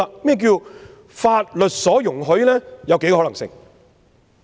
何謂法律所容許呢？